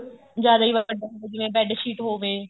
ਜਿਆਦਾ ਹੀ ਵੱਡਾ ਹੋਵੇ ਜਿਵੇਂ bed sheet ਹੋਵੇ